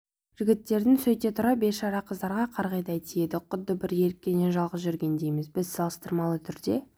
жігіттердің сөйте тұра бейшара қыздарға қырғидай тиеді құдды бір еріккеннен жалғыз жүргендейміз біз салыстырмалы түрде